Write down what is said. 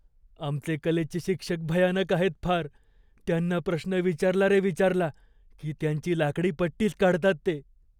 आमचे कलेचे शिक्षक भयानक आहेत फार. त्यांना प्रश्न विचारला रे विचारला की त्यांची लाकडी पट्टीच काढतात ते.